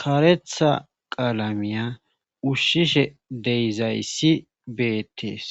karetha qaalamiya ushshishe deyizayssi beettees